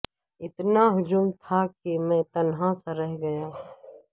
اتنا ہجوم تھا کہ میں تنہا سا رہ گیا